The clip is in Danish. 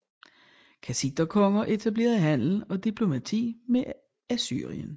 Kassiterkonger etablerede handel og diplomati med Assyrien